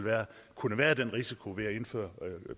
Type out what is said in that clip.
kunne være den risiko ved at indføre